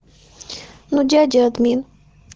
ну дядя админ